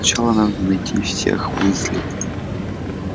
сначала надо найти всех уизли